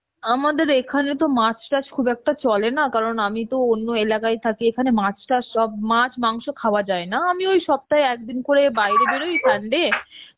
আমাদের এখানে তো মাছ টাচ খুব একটা চলে না কারণ আমি তো অন্য এলাকায় থাকি এখানে মাছ টাচ সব মাছ মাংস খাওয়া যায়, না আমি ওই সপ্তায় একদিন করে বাইরে বেরই sunday